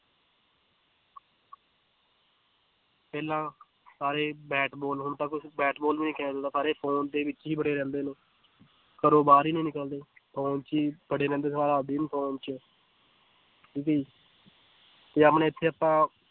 ਪਹਿਲਾਂ ਸਾਰੇ bat ball ਹੁਣ ਤਾਂ ਕੁਛ ਬੈਟ ਬਾਲ ਵੀ ਨੀ ਖੇਲਦਾ ਸਾਰੇ phone ਦੇ ਵਿੱਚ ਹੀ ਬੜੇ ਰਹਿੰਦੇ ਹਨ, ਘਰੋਂ ਬਾਹਰ ਹੀ ਨੀ ਨਿਕਲਦੇੇ phone ਚ ਬੜੇ ਰਹਿੰਦੇ ਸਾਰਾ ਦਿਨ phone ਚ ਜੇ ਆਪਣੇ ਇੱਥੇ ਆਪਾਂ